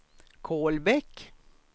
Kolbäck